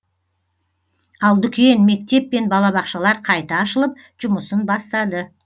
ал дүкен мектеп пен балабақшалар қайта ашылып жұмысын бастады